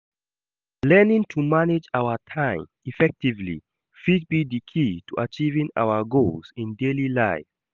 Learning to manage our time effectively fit be di key to achieving our goals in daily life.